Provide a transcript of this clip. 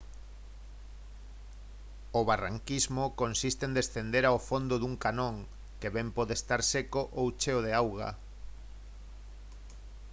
o barranquismo consiste en descender ao fondo dun canón que ben pode estar seco ou cheo de auga